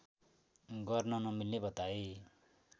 गर्न नमिल्ने बताए